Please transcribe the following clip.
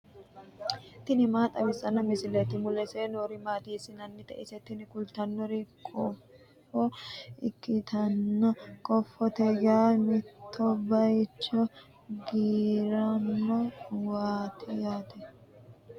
tini maa xawissanno misileeti ? mulese noori maati ? hiissinannite ise ? tini kultannori kofo ikkitanna kofote yaa mitto bayiicho garino waati yaate.